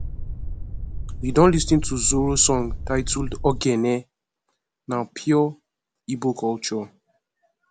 you don lis ten to zoro song titled ogene na pure igbo culture